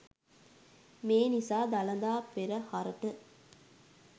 මේ නිසා දළදා පෙරහරට